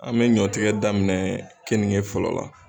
An mɛ ɲɔtigɛ daminɛ kenige fɔlɔ la.